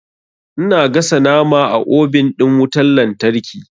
Ina gasa nama a obin ɗin wutan lantarki.